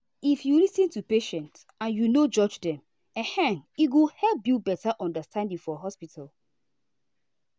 if you lis ten to patient and you no judge dem ehm e go help build better understanding for hospital.